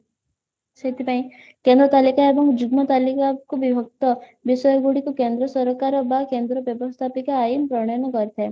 ସେଥିପାଇଁ ତାଲିକା ଏବଂ ଯୁଗ୍ମ ତାଲିକା କୁ ବିଭକ୍ତ ବିଷୟ ଗୁଡିକୁ କେନ୍ଦ୍ର ସରକାର ବା କେନ୍ଦ୍ର ବ୍ୟବସ୍ତାପିକ ଆଇନ ପ୍ରଣୟନ କରିଥାଏ